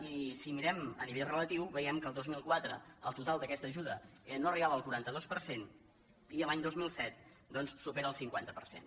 i si ho mirem a nivell relatiu veiem que el dos mil quatre el total d’a questa ajuda no arribava al quaranta dos per cent i l’any dos mil set doncs supera el cinquanta per cent